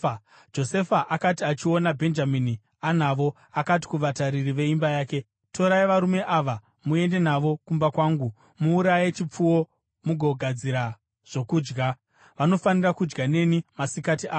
Josefa akati achiona Bhenjamini anavo, akati kuvatariri veimba yake, “Torai varume ava muende navo kumba kwangu, muuraye chipfuwo mugogadzira zvokudya; vanofanira kudya neni masikati ano.”